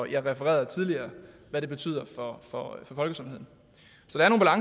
jeg refererede tidligere hvad det betyder for folkesundheden